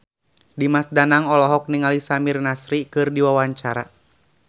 Dimas Danang olohok ningali Samir Nasri keur diwawancara